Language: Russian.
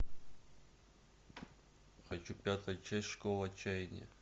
хочу пятая часть школа отчаяния